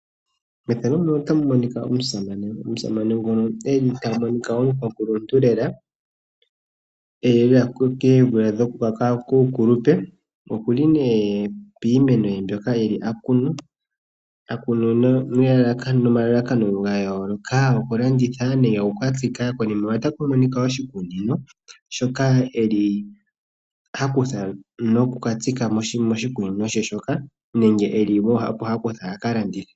Methano ndika otamu monika omusame omukwakulunhu athikama piimeno ye yokulanditha nokutsika